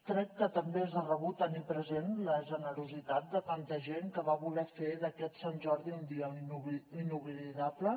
crec que també és de rebut tenir present la generositat de tanta gent que va voler fer d’aquest sant jordi un dia inoblidable